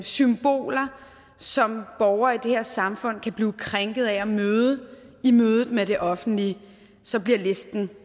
symboler som borgere i det her samfund kan blive krænket af at møde i mødet med det offentlige så bliver listen